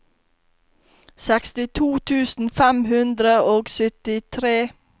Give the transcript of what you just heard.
sekstito tusen fem hundre og syttitre